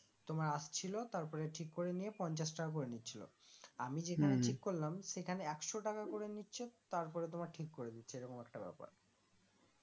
তোমার আসছিলো তারপরে ঠিক করে নিয়ে পঞ্চাশ টাকা করে নিচ্ছিলো আমি যেখানে ঠিক করলাম সেখানে একশো টাকা করে নিচ্ছে তারপরে তোমার ঠিক করে দিচ্ছে এরকম একটা ব্যাপার